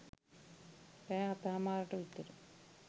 රෑ හතහමාරට විතර